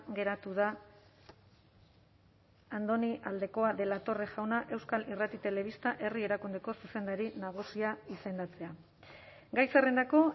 geratu da andoni aldekoa de la torre jauna euskal irrati telebista herri erakundeko zuzendari nagusia izendatzea gai zerrendako